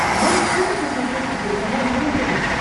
можешь включить на смотрешке телеканал нано тв